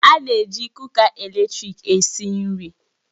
A na-eji kuka eletrik esi nri